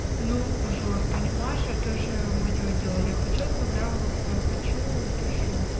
ну жор понимаешь а ты же моё дело я хочу отправляла свою хочу пишу